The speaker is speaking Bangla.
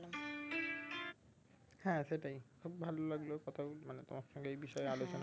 হ্যাঁ সেটাই খুব ভালো লাগলো কথা মানে তোমার সঙ্গে এই বিষয়ে আলোচনা করে